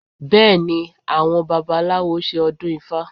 Bẹ́ẹ̀ ni, àwọn babaláwo ṣe ọdún ifá